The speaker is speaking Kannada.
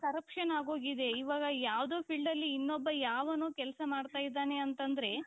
corruption ಆಗೋಗಿದೆ ಇವಾಗ ಯಾವುದೋ fieldಅಲ್ಲಿ ಇನ್ನೊಬ್ಬ ಯಾವನೋ ಕೆಲಸ ಮಾಡ್ತಾ ಇದ್ದಾನೆ ಅಂತಂದ್ರೆ.